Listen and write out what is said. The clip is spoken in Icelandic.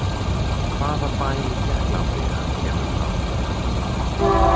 Hvaða bæ í Tékklandi hann kemur frá?